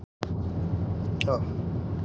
Mig dreymir mig vera þar um borð